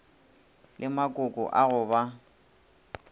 le makoko a go ba